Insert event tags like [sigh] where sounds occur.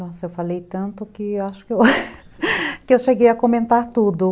Nossa, eu falei tanto que eu [laughs] cheguei a comentar tudo.